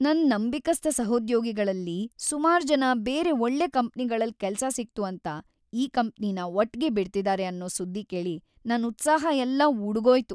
ನನ್ ನಂಬಿಕಸ್ಥ ಸಹೋದ್ಯೋಗಿಗಳಲ್ಲಿ ಸುಮಾರ್ಜನ ಬೇರೆ ಒಳ್ಳೆ ಕಂಪ್ನಿಗಳಲ್‌ ಕೆಲ್ಸ ಸಿಕ್ತು ಅಂತ ಈ ಕಂಪ್ನಿನ ಒಟ್ಗೆ ಬಿಡ್ತಿದಾರೆ ಅನ್ನೋ ಸುದ್ದಿ ಕೇಳಿ ನನ್‌ ಉತ್ಸಾಹ ಎಲ್ಲ ಉಡುಗ್ಹೋಯ್ತು.